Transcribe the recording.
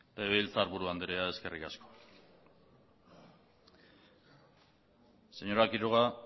legebiltzarburu andrea eskerrik asko señora quiroga